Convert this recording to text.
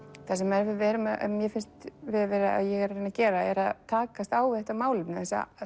það sem mér finnst ég reyna að gera er að takast á við þetta málefni